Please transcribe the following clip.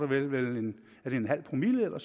det er vel en en halv promille eller